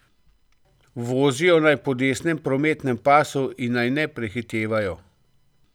Vozijo naj po desnem prometnem pasu in naj ne prehitevajo.